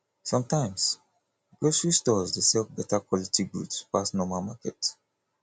sometimes grocery stores dey sell beta quality goods pass normal market